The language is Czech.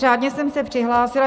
Řádně jsem se přihlásila.